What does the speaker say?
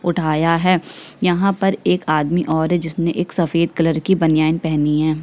उठाया हुआ है यहाँ पर एक और आदमी है जिसमें सफेद कलर के बनियान पहनी है।